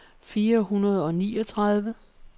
fire hundrede og niogtredive